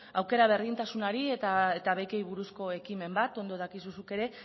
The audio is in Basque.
aukera berdintasunari eta bekei buruzko ekimen bat ondo dakizu zuk ere